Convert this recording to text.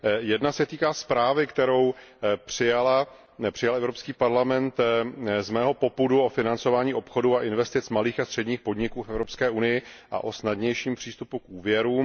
Jedna se týká zprávy, kterou přijal Evropský parlament z mého popudu, o financování obchodu a investic malých a středních podniků v Evropské unii a o snadnějším přístupu k úvěrům.